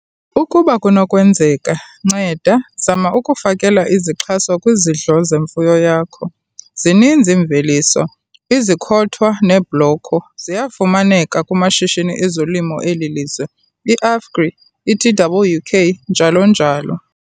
Ukuba kunokwenzeka, nceda zama ukufakela izixhaso kwizidlo zemfuyo yakho - zininzi iimveliso, izikhothwa neebloko, ziyafumaneka kumashishini ezolimo eli lizwe, iAfgri, iTWK, njalo njalo.